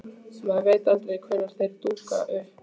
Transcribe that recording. Maður veit aldrei hvenær þeir dúkka upp.